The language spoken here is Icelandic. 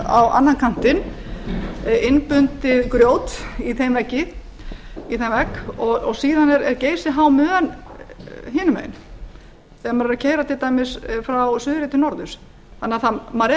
á annan kantinn innbundið grjót í þeim vegg og síðan er geysihá mön hinum megin þegar maður er að keyra til dæmis frá suðri til norðurs þannig að maður er eiginlega kominn í stokk það vantar